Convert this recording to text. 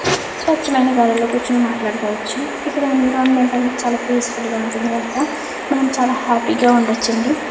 స్వచ్ఛమైన గాలుల్లో కూర్చొని మాట్లాడుకోవచ్చు. ఇక్కడ ఎన్విరాన్మెంట్ అనేది చాలా పీసిఫుల్ ఉంటుంది గనుక మనం చాలా హ్యాపీగా ఉండచ్చు అండి.